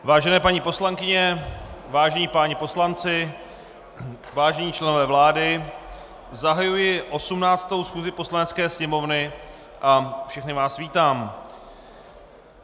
Vážené paní poslankyně, vážení páni poslanci, vážení členové vlády, zahajuji 18. schůzi Poslanecké sněmovny a všechny vás vítám.